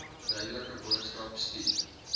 duidelike boodskap stuur